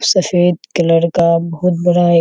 सफ़ेद कलर का बहुत बड़ा है।